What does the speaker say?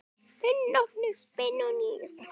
Þinn nafni Benóný.